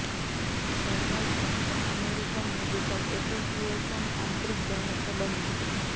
journal of the American medical association આંતરિક દવા સંબંધી